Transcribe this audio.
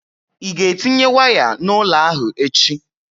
Ị ga-etinye waya n'ụlọ ahụ echi?